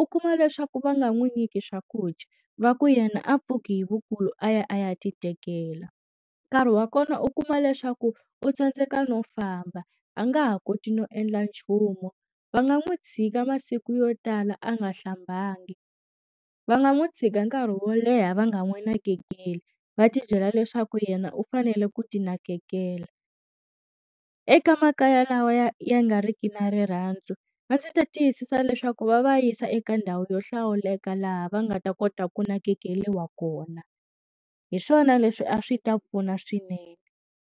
U kuma leswaku va nga n'wi nyiki swakudya, va ku yena a pfuke hi vukulu a ya a ya ti tekela. Nkarhi wa kona u kuma leswaku u tsandzeka no famba a nga ha koti no endla nchumu. Va nga n'wi tshika masiku yo tala a nga hlambanga, va nga n'wi tshika nkarhi wo leha va nga n'wi nakekeli, va tibyela leswaku yena u fanele ku ti nakekela. Eka makaya lawa ya ya nga ri ki na rirhandzu, a ndzi ta tiyisisa leswaku va va yisa eka ndhawu yo hlawuleka laha va nga ta kota ku nakekeriwa kona. Hi swona leswi a swi ta pfuna swinene.